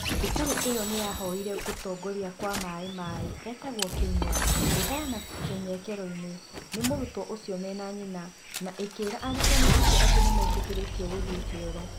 Cukuru ĩyo nĩ yavoire kũtongoria wa Maĩ-Maĩ etagwo Kĩnyũa kwĩveana Kenyrekerwo ni mũrutwo ũcio mena nyina na ĩkĩĩra arutani acio atĩ ni metĩkĩrĩtio kuthiĩ kĩoro